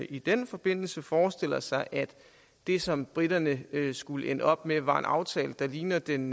i den forbindelse forestiller sig at det som briterne skulle ende op med var en aftale der ligner den